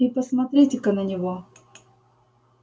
и посмотрите-ка на него